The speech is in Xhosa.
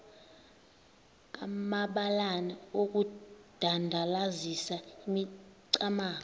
amabalana okudandalazisa imicamango